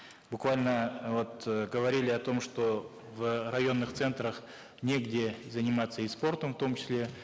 буквально вот говорили о том что в районных центрах негде заниматься и спортом в том числе